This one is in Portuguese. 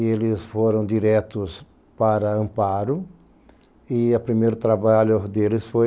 E eles foram diretos para Amparo e o primeiro trabalho deles foi